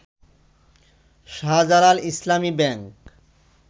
Shahjalal Islami bank